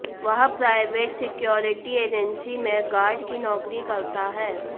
वह private security agency में guard की नौकरी करता है